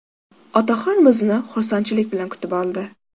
Otaxon bizni xursandchilik bilan kutib oldi.